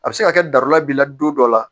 A bɛ se ka kɛ dara b'i la don dɔ la